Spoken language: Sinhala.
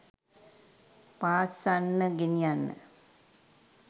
පාස්සන්න ගෙනියන්න